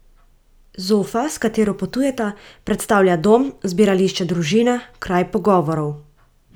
Zofa, s katero potujeta, predstavlja dom, zbirališče družine, kraj pogovorov.